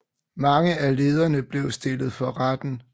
Mange af lederne blev stillet for retten